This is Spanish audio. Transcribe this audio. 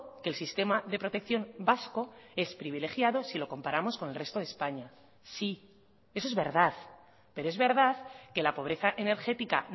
que el sistema de protección vasco es privilegiado si lo comparamos con el resto de españa sí eso es verdad pero es verdad que la pobreza energética